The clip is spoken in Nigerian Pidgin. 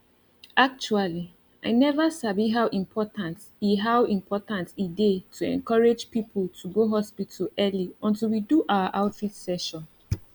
actually i never sabi how important e how important e dey to encourage people to go hospital early until we do our outreach session